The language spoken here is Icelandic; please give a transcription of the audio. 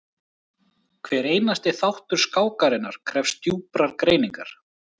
Hver einasti þáttur skákarinnar krefst djúprar greiningar.